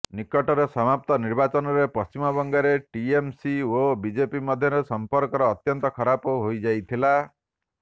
ନିକଟରେ ସମାପ୍ତ ନିର୍ବାଚନରେ ପଶ୍ଚିମବଙ୍ଗରେ ଟିଏମସି ଓ ବିଜେପି ମଧ୍ୟରେ ସଂପର୍କ ଅତ୍ୟନ୍ତ ଖରାପ ହୋଇଯାଇଥିଲା